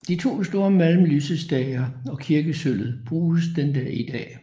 De to store malm lysestager og kirkesølvet bruges den dag i dag